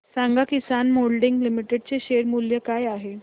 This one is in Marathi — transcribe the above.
सांगा किसान मोल्डिंग लिमिटेड चे शेअर मूल्य काय आहे